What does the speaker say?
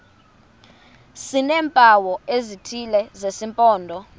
sineempawu ezithile zesimpondo